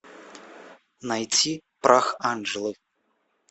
найти прах анжелы